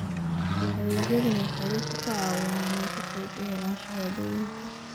Adeegyadani waxay dadka ka caawiyaan inay si fudud u helaan shahaadooyinka.